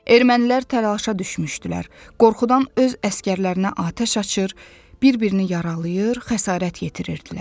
Ermənilər təlaşa düşmüşdülər, qorxudan öz əsgərlərinə atəş açır, bir-birini yaralayır, xəsarət yetirirdilər.